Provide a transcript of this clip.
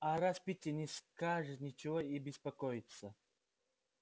а раз питти не скажет нечего и беспокоиться